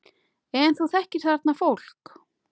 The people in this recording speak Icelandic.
En þú þekkir þarna fólk?